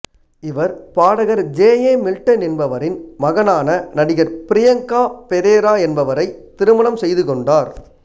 இவர் பாடகர் J A Milton என்பவரின் மகனான நடிகர் பிரியங்கரா பெரேரா என்பவரை திருமணம் செய்துகொண்டார்